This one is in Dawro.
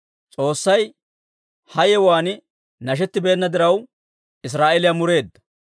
S'oossay ha yewuwaan nashettibeenna diraw, Israa'eeliyaa mureedda.